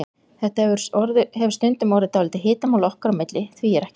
Þetta hefur stundum orðið dálítið hitamál okkar á milli, því er ekki að neita.